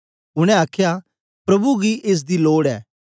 उनै आखया प्रभु गी एस दी लोड ऐ